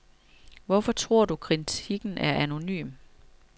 Hvorfor tror du, at kritikken er anonym?